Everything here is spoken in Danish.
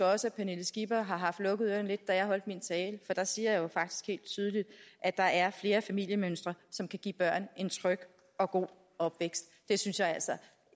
også at pernille skipper har haft lukket ørerne lidt da jeg holdt min tale for der siger jeg jo faktisk helt tydeligt at der er flere familiemønstre som kan give børn en tryg og god opvækst det synes jeg altså